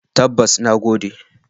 Tabbas, na gode.